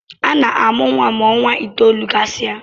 Ana-amụ nwa ma ọnwa itoolu gasị a